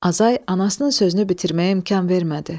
Azay anasının sözünü bitirməyə imkan vermədi.